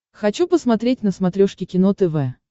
хочу посмотреть на смотрешке кино тв